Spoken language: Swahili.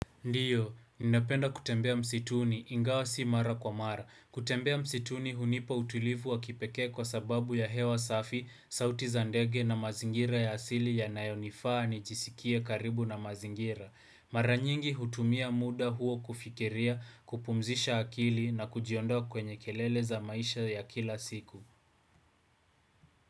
Ndio, ninapenda kutembea msituni, ingawa si mara kwa mara. Kutembea msituni hunipa utulivu wa kipekee kwa sababu ya hewa safi, sauti za ndege na mazingira ya asili yanayonifaa nijisikie karibu na mazingira. Mara nyingi hutumia muda huo kufikiria, kupumzisha akili na kujiondoa kwenye kelele za maisha ya kila siku.